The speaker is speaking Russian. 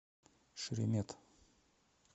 шеремет